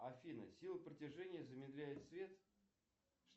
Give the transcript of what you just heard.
афина сила притяжения замедляет свет